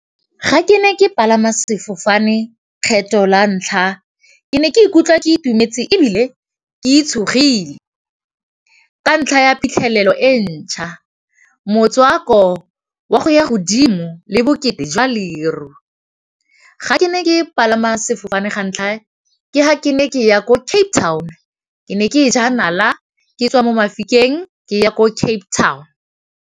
Ga ke ne ke palama sefofane kgetho la ntlha ke ne ke ikutlwa ke itumetse e bile ke itshetlegile, ka ntlha ya phitlhelelo e ntšha motswako wa go ya godimo le bokete jwa leru ga ke ne ke palama sefofane ga ntlha ke ga ke ne ke ya ko Cape Town ke ne ke e ja nala ke tswa mo Mahikeng ke ya ko Cape Town.